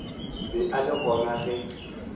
ba e le gona ge